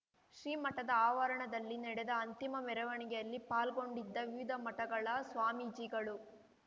ಶ್ರೀಮಠದ ಆವರಣದಲ್ಲಿ ನಡೆದ ಅಂತಿಮ ಮೆರವಣಿಗೆಯಲ್ಲಿ ಪಾಲ್ಗೊಂಡಿದ್ದ ವಿವಿಧ ಮಠಗಳ ಸ್ವಾಮೀಜಿಗಳು